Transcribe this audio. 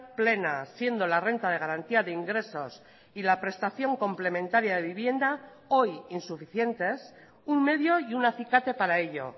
plena siendo la renta de garantía de ingresos y la prestación complementaria de vivienda hoy insuficientes un medio y un acicate para ello